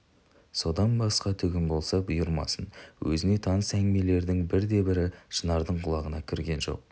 содан басқа түгім болса бұйырмасын өзіне таныс әңгімелердің бірде-бірі шынардың құлағына кірген жоқ